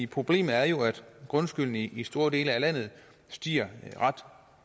problemet er jo at grundskylden i i store dele af landet stiger ret